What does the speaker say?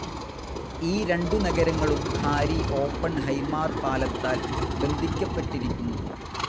ഈ രണ്ടു നഗരങ്ങളും ഹാരി ഓപ്പൺഹൈമാർ പാലത്താൽ ബന്ധിക്കപ്പെട്ടിരിക്കുന്നു.